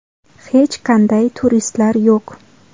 Hech qanday turistlar yo‘q.